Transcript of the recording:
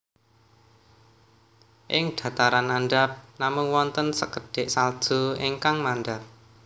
Ing dhataran andhap namung wonten sekedhik salju ingkang mandhap